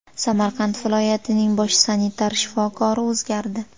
Samarqand viloyatining bosh sanitar shifokori o‘zgardi.